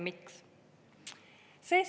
Miks?